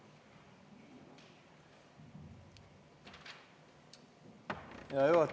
Hea juhataja!